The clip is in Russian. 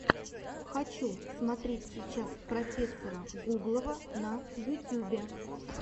хочу смотреть сейчас профессора гуглова на ютюбе